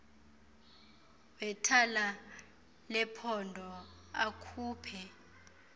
wethala lephondo akhuphe